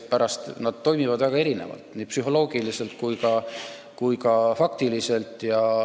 Need toimivad väga erinevalt, nii psühholoogiliselt kui ka faktiliselt.